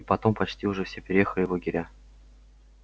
и потом почти уже все переехали в лагеря